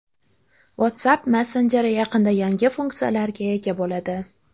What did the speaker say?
WhatsApp messenjeri yaqinda yangi funksiyalarga ega bo‘ladi.